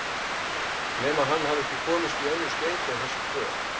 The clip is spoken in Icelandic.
Nema hann hafi ekki komist í önnur skeyti en þessi tvö